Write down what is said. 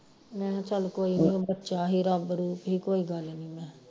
ਮੈਂ ਹਾਂ ਚੱਲ ਕੋਈ ਨੀ ਬੱਚਾ ਹੀ ਰੱਬ ਰੂਪ ਹੀ ਕੋਈ ਗੱਲ ਨੀ ਮੈ